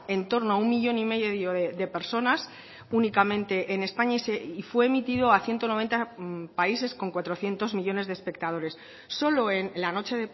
en torno a un millón y medio de personas únicamente en españa y fue emitido a ciento noventa países con cuatrocientos millónes de espectadores solo en la noche